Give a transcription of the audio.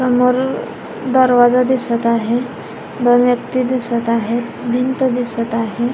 समोर दरवाजा दिसत आहे दोन व्यक्ति दिसत आहेत भिंत दिसत आहे.